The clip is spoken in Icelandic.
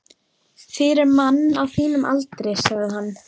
Fyrir mann á þínum aldri, sagði hann.